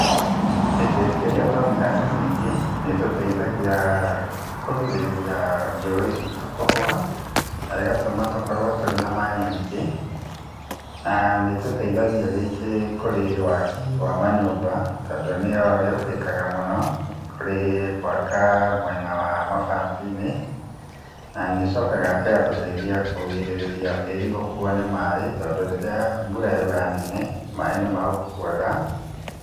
Mĩtĩ rĩrĩa twamĩhanda mĩingĩ nĩ tũteithagia kũgĩrĩria njũĩ citũ kũhwa na ĩgatũma tũkorwo na maĩ maingĩ na nĩ tũteithagia rĩngĩ kũrĩ waki wa manyũmba tondũ nĩyo ĩhũthĩkaga mũno harĩ gwaka mwena wa mabati-inĩ na nĩcokaga ĩgatũrigĩrĩria tĩri gũkuo nĩ maĩ tondũ rĩrĩa mbura yaura nene maĩ nĩ maũkuaga.